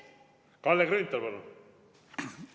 Kalle Grünthal, palun!